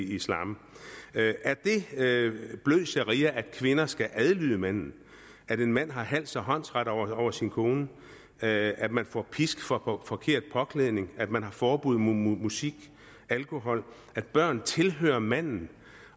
islam er det blød sharia at kvinden skal adlyde manden at en mand har hals og håndsret over sin kone at at man får pisk for forkert påklædning at man har forbud mod musik alkohol at børn tilhører manden